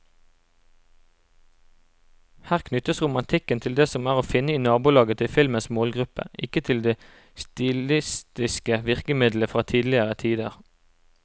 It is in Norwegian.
Her knyttes romantikken til det som er å finne i nabolaget til filmens målgruppe, ikke til de stilistiske virkemidlene fra tidligere tider.